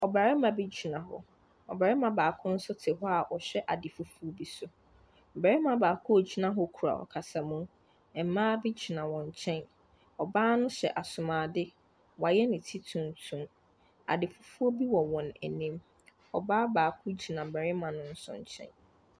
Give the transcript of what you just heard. Ɔbarima bi gyina hɔ. Ɔbarima baako nso te hɔ a ɔrehwɛ ade fufuo bi so. Barima baako a ɔgyina hɔ kura ɔkasamu. Mmaa bi gyina wɔn nkyɛn. Ɔbaa no hyɛ asomuadeɛ. Wayɛ ne ti tuntum. Adefufuo bi wɔ wɔn anim. Ɔbaa baako gyina mmarima no nso nkyɛn.